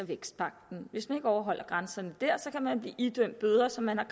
vækstpagten hvis man ikke overholder grænserne der kan man blive idømt bøder som man har